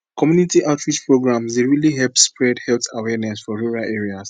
community outreach programs dey really help spread health awareness for rural areas